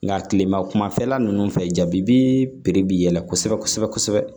Nka kilema kumafɛla ninnu fɛ jabi bi piri bi yɛlɛ kosɛbɛ